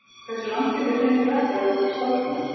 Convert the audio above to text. Hversu langt getur hraun flætt áður en það storknar?